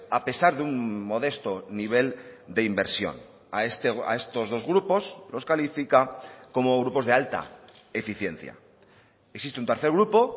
a pesar de un modesto nivel de inversión a estos dos grupos los califica como grupos de alta eficiencia existe un tercer grupo